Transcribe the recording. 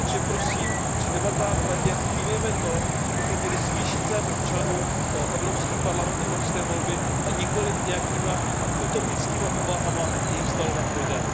Takže prosím při debatách v Radě vnímejme to, že bychom měli zvýšit zájem občanů o Evropský parlament, evropské volby, a nikoliv nějakými utopickými úvahami jej vzdalovat lidem.